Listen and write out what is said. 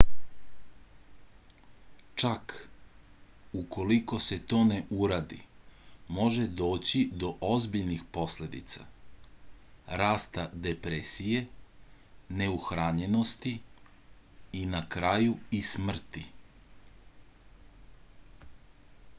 čak ukoliko se to ne uradi može doći do ozbiljnih posledica rasta depresije neuhranjenosti i na kraju i smrti